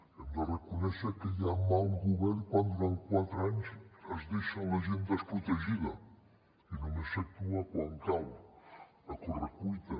hem de reconèixer que hi ha mal govern quan durant quatre anys es deixa la gent desprotegida i només s’actua quan cal a correcuita